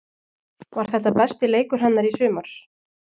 Var þetta besti leikur hennar í sumar?